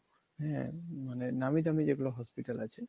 হ্যা মানে নামি দামি যেগুলা hospital